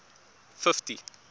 fifty